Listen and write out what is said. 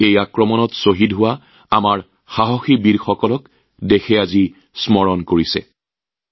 আজি দেশে সেই বীৰসকলক স্মৰণ কৰিছে যিসকলে আক্ৰমণৰ সময়ত সৰ্বস্ব ত্যাগ কৰিছিল